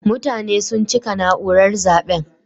Mutane sun cika naúrar zaben.